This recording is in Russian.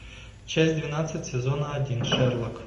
часть двенадцать сезона один шерлок